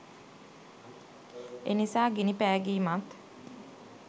එනිසා ගිනි පෑගීමත්